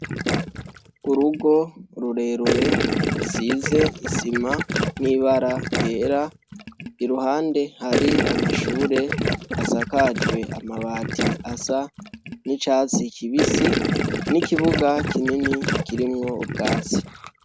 Urugo rurerure rusize isima n'ibara ryera, iruhande hari amashure asakajwe amabati asa n'icatsi kibisi, n'ikibuga kinini kirimwo ubwatsi.